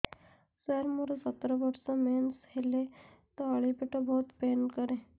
ସାର ମୋର ସତର ବର୍ଷ ମେନ୍ସେସ ହେଲେ ତଳି ପେଟ ବହୁତ ପେନ୍ କରେ